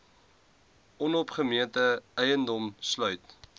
onopgemete eiendom sluit